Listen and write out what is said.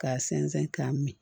K'a sɛnsɛn k'a min